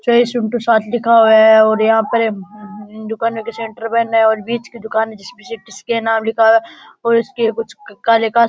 साथ लिखा है और यहां पर दूकान के सेण्टर पहने और बिच की दूकान जिसपे सी टी स्कैन नाम लिखा है और उसके कुछ काले --